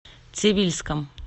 цивильском